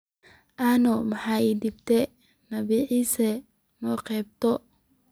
Ano maxa ii dambta nabii Issa soqabto.